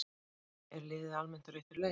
Er liðið almennt á réttri leið?